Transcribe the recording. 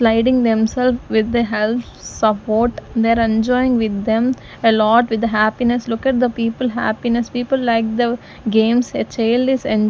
sliding themselves with the help support their enjoying with them a lot with happiness look at the people happiness people like the games a child is en--